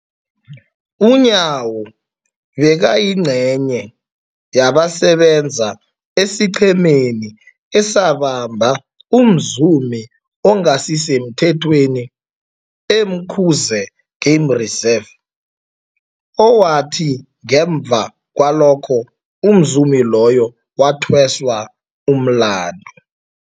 UNyawo bekayingcenye yabasebenza esiqhemeni esabamba umzumi ongasisemthethweni e-Umkhuze Game Reserve, owathi ngemva kwalokho umzumi loyo wathweswa umlandu.